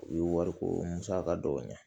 U ye wari ko musaka dɔw ɲɛ